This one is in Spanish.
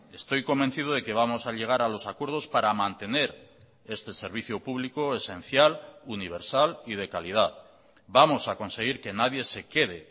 estoy convencido de que vamos a llegar a los acuerdos para mantener este servicio público esencial universal y de calidad vamos a conseguir que nadie se quede